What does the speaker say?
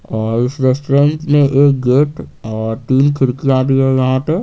और इस रेस्टोरेंट में एक गेट और तीन खिड़कियां भी हैं यहां पे--